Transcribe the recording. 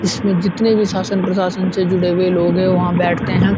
इसमें जीतने भी शासन प्राशन से जुड़े हुए लोग हैं वहाँ बैठते हैं।